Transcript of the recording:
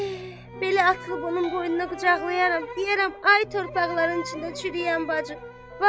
Heh, belə atılıb onun boynuna qucaqlayaram, deyərəm: Ay torpaqların içində çürüyən bacım!